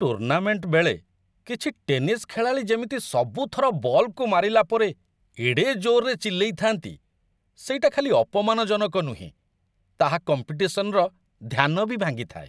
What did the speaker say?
Tournament ବେଳେ, କିଛି tennis ଖେଳାଳି ଯେମିତି ସବୁ ଥର ବଲ୍‌କୁ ମାରିଲା ପରେ ଏଡ଼େ ଜୋର୍‌ରେ ଚିଲ୍ଲେଇଥାନ୍ତି ସେଇଟା ଖାଲି ଅପମାନଜନକ ନୁହେଁ, ତାହା କମ୍ପିଟିସନର ଧ୍ୟାନ ବି ଭାଙ୍ଗିଥାଏ।